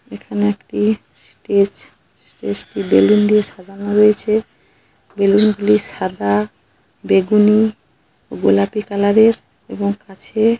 এখানে একটি stage stage টি বেলুন দিয়ে সাজানো রয়েছে বেলুন গুলি সাদা বেগুনি ও গোলাপি কালার এর এবং কাছে।